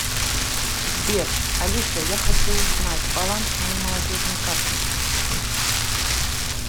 сбер алиса я хочу узнать баланс моей молодежной карты